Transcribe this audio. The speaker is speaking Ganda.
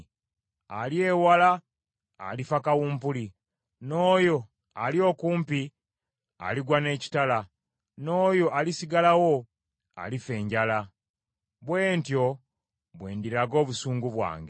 Ali ewala alifa kawumpuli, n’oyo ali okumpi aligwa n’ekitala, n’oyo alisigalawo alifa enjala. Bwe ntyo bwe ndiraga obusungu bwange.